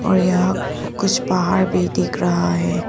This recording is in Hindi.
और यहां कुछ पहाड़ भी दिख रहा है।